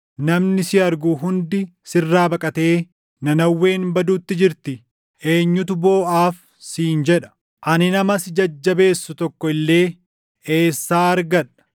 Namni si argu hundi sirraa baqatee, ‘Nanawween baduutti jirti; eenyutu booʼaaf?’ siin jedha. Ani nama si jajjabeessu tokko illee eessaa argadha?”